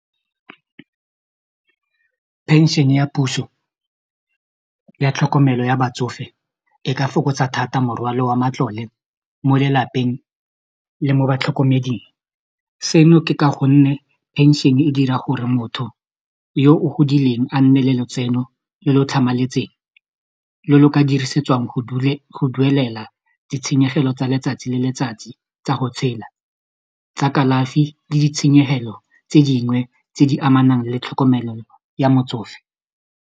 Pension ya puso ya tlhokomelo ya batsofe e ka fokotsa thata morwalo wa matlole mo lelapeng le mo batlhokomeding seno ke ka gonne pension-e dira gore motho yo o godileng a nne le letseno le le tlhamaletseng lo lo ka dirisetswang go duelela ditshenyegelo tsa letsatsi le letsatsi tsa go tshela tsa kalafi le ditshenyegelo tse dingwe tse di amanang le tlhokomelo ya motsofe.